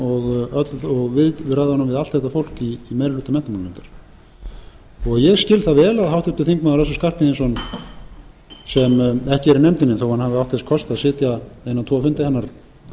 og viðræðum við allt þetta fólk í meiri hluta menntamálanefndar ég skil það vel að háttvirtur þingmaður össur skarphéðinsson sem ekki er í nefndinni þótt hann hafi átt þess kost að sitja